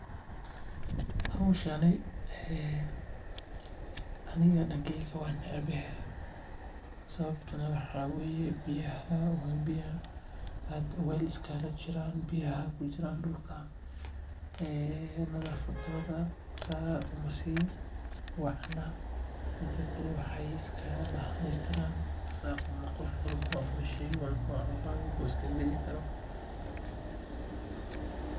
Howshani aniga dankeyga waan necbahay sababta oo ah biyaha dulka kujiraan nadafadooda sait Uma ficna bahal walbo ayaa iska gali karaa.